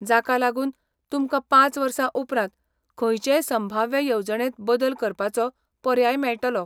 जाका लागून तुमकां पांच वर्सां उपरांत खंयचेय संभाव्य येवजणेंत बदल करपाचो पर्याय मेळटलो.